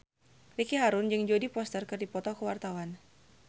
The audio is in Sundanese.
Ricky Harun jeung Jodie Foster keur dipoto ku wartawan